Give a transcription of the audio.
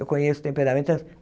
Eu conheço temperamentos.